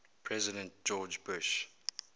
president george bush